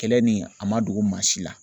Kɛlɛ ni a ma dogo maa si la